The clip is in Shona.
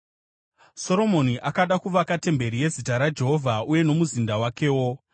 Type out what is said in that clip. Soromoni akada kuvaka temberi yeZita raJehovha uye nomuzinda wakewo.